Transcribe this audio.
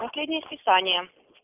последнее списание